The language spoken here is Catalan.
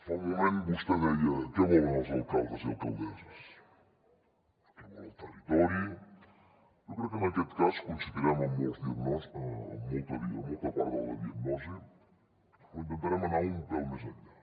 fa un moment vostè deia què volen els alcaldes i alcaldesses què vol el territori jo crec que en aquest cas coincidirem en molta part de la diagnosi però intentarem anar un pèl més enllà